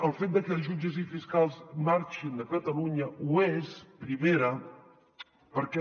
el fet de que els jutges i fiscals marxin de catalunya ho és primera perquè